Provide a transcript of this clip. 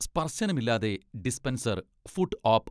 സ്പർശനം ഇല്ലാതെ dispenser, foot ഓപ്പ്